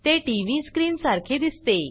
ते TV screen सारखे दिसते